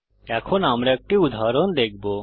এখন আমরা একটি উদাহরণ দেখবো